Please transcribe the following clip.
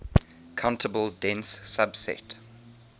countable dense subset